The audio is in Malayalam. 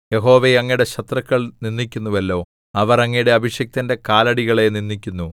യഹോവേ അങ്ങയുടെ ശത്രുക്കൾ നിന്ദിക്കുന്നുവല്ലോ അവർ അങ്ങയുടെ അഭിഷിക്തന്റെ കാലടികളെ നിന്ദിക്കുന്നു